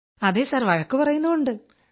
അതെ സർ വഴക്കു പറയുന്നുമുണ്ട്